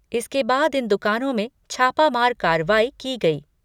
इसके बाद इन दुकानों में छापामार कार्रवाई की गई।